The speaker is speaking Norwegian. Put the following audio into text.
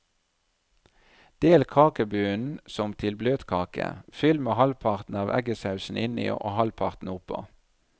Del kakebunnen som til bløtkake, fyll med halvparten av eggesausen inni og halvparten oppå.